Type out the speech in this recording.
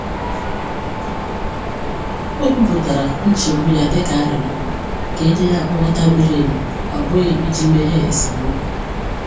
O kwupụtara nchegbu ya dịka arịrịọ ka e nye ya nghọta miri emi, ọ bụghị iji meghee esemokwu.